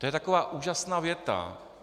To je taková úžasná věta.